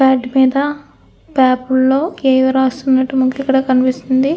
Bat మీద paper లో ఏవో రాసి ఉన్నట్టుగా మనకిక్కడ కనిపిస్తుంది.